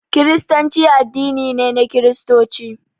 Kiristanci addini ne na Kiristoci